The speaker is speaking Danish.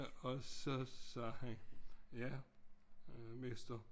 Og så sagde han jo mester